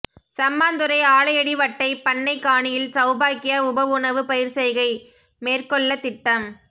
சம்மாந்துறை ஆலையடி வட்டை பண்னைக் காணியில் சௌபாக்கியா உப உணவு பயிர்செய்கை மேற்கொள்ளத் திட்டம்